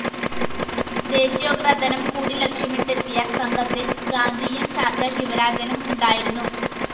ദേശീയോദ്ഗ്രഥനം കൂടി ലക്ഷ്യമിട്ടെത്തിയ സംഘത്തില്‍ ഗാന്ധിയന്‍ ചാച്ച ശിവരാജനും ഉണ്ടായിരുന്നു